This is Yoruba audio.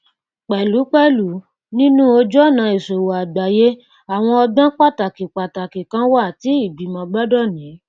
pẹlúpẹlù nínú ojúọnà ìṣòwò àgbáyé àwọn ọgbọn pàtàkí pàtàkí kan wà tí ìgbìmọ gbọdọ ní